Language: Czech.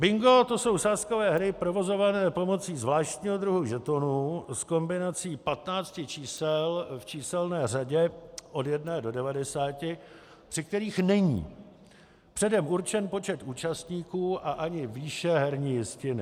Bingo - to jsou sázkové hry provozované pomocí zvláštního druhu žetonů s kombinací 15 čísel v číselné řadě od 1 do 90, při kterých není předem určen počet účastníků a ani výše herní jistiny.